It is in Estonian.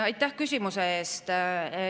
Aitäh küsimuse eest!